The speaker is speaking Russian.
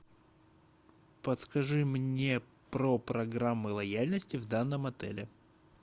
подскажи мне про программы лояльности в данном отеле